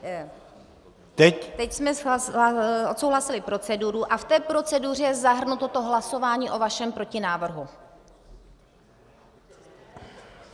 Teď jsme odsouhlasili proceduru a v té proceduře je zahrnuto to hlasování o vašem protinávrhu.